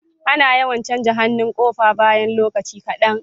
Ana yawan canja hannun kofa bayan lokaci kadan